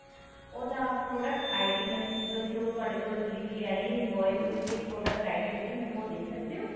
ਉਹਦਾ product ID means ਜੋ ਤੁਹਾਡੇ ਕੋਲ delivery ਆਈ ਹੈ invoice ਦੇ ਉੱਤੇ ਇੱਕ product ID ਹੁੰਦੀ ਹੈ ਮੈਨੂੰ ਉਹ ਦੇ ਸਕਦੇ ਹੋ